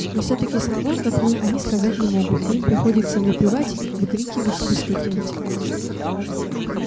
но всё-таки слова как мы они сказать не могут и им приходится выпевать выкрикивать выстукивать